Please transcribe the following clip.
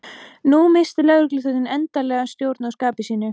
Nú missti lögregluþjónninn endanlega stjórn á skapi sínu.